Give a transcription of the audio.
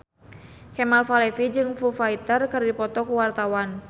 Kemal Palevi jeung Foo Fighter keur dipoto ku wartawan